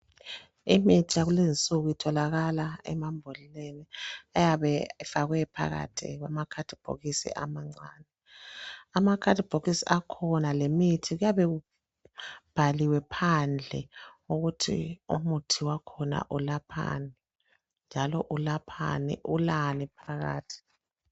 Imithi yakulezinsuku itholakala emambodleleni ayabe efakwe phakathi kwama khadibhokisi amancani. Amakhadibhokisi akhona lemithi kuyabe kubhaliwe phandle ukuthi umuthi wakhona ulaphani njalo ulaphani, ulani phakathi.